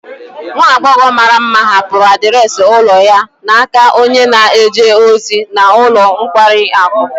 Nwa agbọghọ mara mma hapụrụ adreesị ụlọ ya n'aka onye na-eje ozi n'ulo nkwari akụ